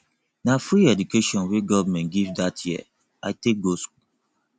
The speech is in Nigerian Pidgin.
na free education wey government give dat year i take go skool